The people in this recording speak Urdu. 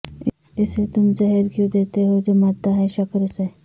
اسے تم زہر کیوں دیتے ہو جو مرتا ہے شکر سے